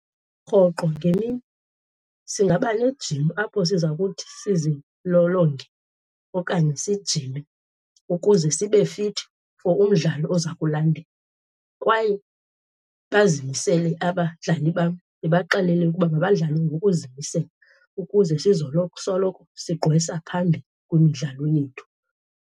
Rhoqo ngemini singaba nejim apho siza kuthi sizilolonge okanye sijime ukuze sibe fithi for umdlalo oza kulandela. Kwaye bazimisele abadlali bam, ndibaxelele ukuba mabadlale ngokuzimisela ukuze soloko sigqwesa phambili kwimidlalo yethu.